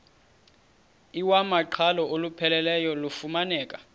iwamaqhalo olupheleleyo lufumaneka